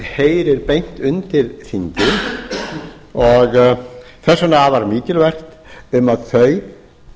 heyrir beint undir þingið og þess vegna afar mikilvægt að þau